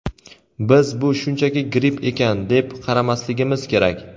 Biz "bu shunchaki gripp ekan" deb qaramasligimiz kerak.